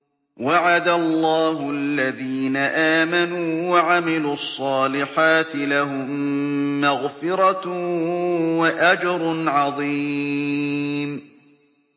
وَعَدَ اللَّهُ الَّذِينَ آمَنُوا وَعَمِلُوا الصَّالِحَاتِ ۙ لَهُم مَّغْفِرَةٌ وَأَجْرٌ عَظِيمٌ